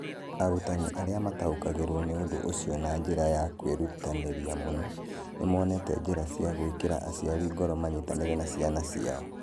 Arutani arĩa mataũkagĩrũo nĩ ũndũ ũcio na njĩra ya kwĩrutanĩria mũno, nĩ monete njĩra cia gwĩkĩra aciari ngoro manyitanĩre na ciana ciao.